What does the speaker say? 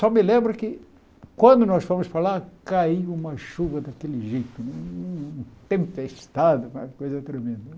Só me lembro que, quando nós fomos para lá, caiu uma chuva daquele jeito, um tempestado, uma coisa tremenda.